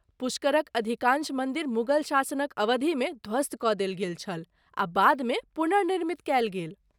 पुष्करक अधिकाँश मन्दिर मुगल शासनक अवधिमे ध्वस्त कऽ देल गेल छल आ बादमे पुनर्निर्मित कयल गेल।